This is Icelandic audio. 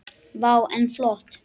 Vá, en flott.